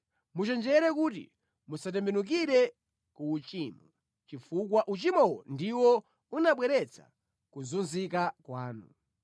Muchenjere kuti musatembenukire ku uchimo, chifukwa uchimowo ndiwo unabweretsa kuzunzika kwanu.